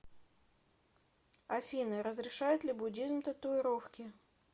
афина разрешает ли буддизм татуировки